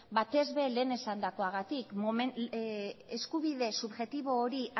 batez ere lehen esandakoagatik eskubide subjektibo hori